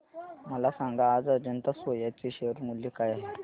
मला सांगा आज अजंता सोया चे शेअर मूल्य काय आहे